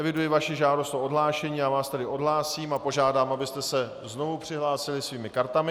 Eviduji vaši žádost o odhlášení, já vás tedy odhlásím a požádám, abyste se znovu přihlásili svými kartami.